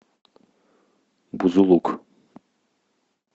бузулук